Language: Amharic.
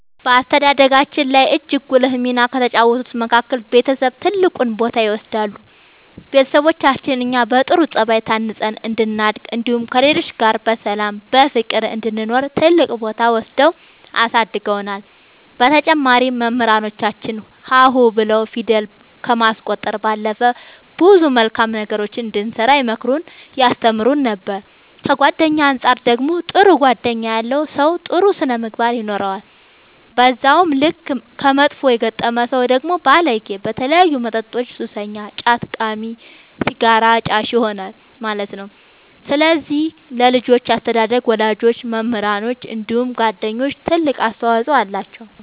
በአስተዳደጋችን ላይ እጅግ ጉልህ ሚና ከተጫወቱት መካከል ቤተሰብ ትልቁን ቦታ ይወስዳሉ ቤተሰቦቻችን እኛ በጥሩ ጸባይ ታንጸን እንድናድግ እንዲሁም ከሌሎች ጋር በሰላም በፍቅር እንድንኖር ትልቅ ቦታ ወስደው አሳድገውናል በተጨማሪም መምህራኖቻችን ሀ ሁ ብለው ፊደል ከማስቆጠር ባለፈ ብዙ መልካም ነገሮችን እንድንሰራ ይመክሩን ያስተምሩን ነበር ከጓደኛ አንፃር ደግሞ ጥሩ ጓደኛ ያለው ሰው ጥሩ ስነ ምግባር ይኖረዋል በዛው ልክ ከመጥፎ የገጠመ ሰው ደግሞ ባለጌ በተለያዩ መጠጦች ሱሰኛ ጫት ቃሚ ሲጋራ አጫሽ ይሆናል ማለት ነው ስለዚህ ለልጆች አስተዳደግ ወላጆች መምህራኖች እንዲሁም ጓደኞች ትልቅ አስተዋፅኦ አላቸው።